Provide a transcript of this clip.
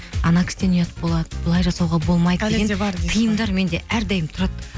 анау кісіден ұят болады бұлай жасауға болмайды тиымдар менде әрдайым тұрады